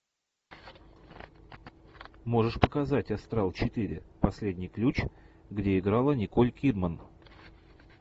можешь показать астрал четыре последний ключ где играла николь кидман